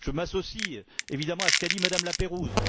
Je m'associe, évidemment, à ce qu'a dit Mme Laperrouze.